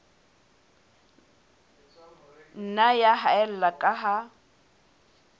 nna ya haella ka ha